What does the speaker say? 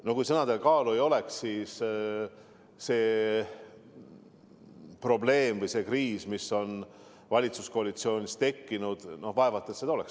No kui sõnadel kaalu ei oleks, siis vaevalt seda probleemi või kriisi, mis nüüd valitsuskoalitsioonis on, oleks tekkinud.